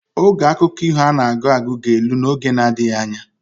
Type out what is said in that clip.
Oge akụkọ iho ana agụ agụ ga elu na oge na adigha anya